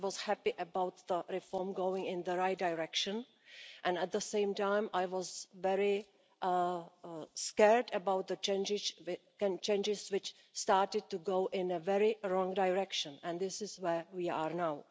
I was happy about the reform going in the right direction and at the same time, I was very scared about the changes which started to go in a very wrong direction and this is where we are now.